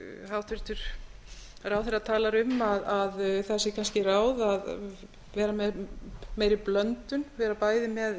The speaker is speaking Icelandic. hæstvirtur ráðherra talar um það að sé kannski ráð að vera með meiri blöndun vera bæði með